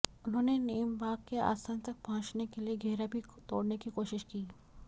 उन्होंने नेमबांग के आसन तक पहुंचने के लिए घेरा भी तोड़ने की कोशिश की